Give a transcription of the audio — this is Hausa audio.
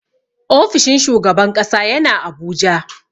Ofishin shugaban ƙasa yana Abuja.